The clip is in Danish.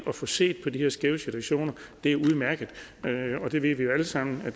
at få set på de her skæve situationer er udmærket og vi ved jo alle sammen at